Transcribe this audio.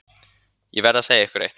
Ég verð að segja ykkur eitt.